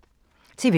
TV 2